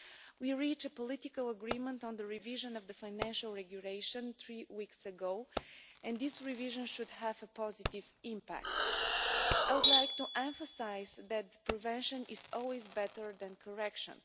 We reached a political agreement on the revision of the Financial Regulation three weeks ago, and this revision should have a positive impact. I would like to emphasise that prevention is always better than correction.